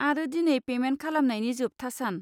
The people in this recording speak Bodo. आरो दिनै पेमेन्ट खालामनायनि जोबथा सान।